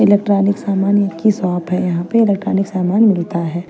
Electronic सामान्य की shop है यहां पे इलेक्ट्रॉनिक सामान मिलता है।